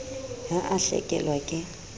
ha a a hlakelwa ke